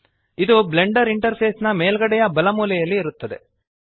ಇದು blender interface ನ ಮೇಲ್ಗಡೆಯ ಬಲ ಮೂಲೆಯಲ್ಲಿ ಇರುತ್ತದೆ